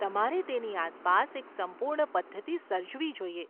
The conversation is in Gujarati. તમારે તેની આસપાસ એક સંપૂર્ણ પધ્ધતિ સર્જવી જોઈએ.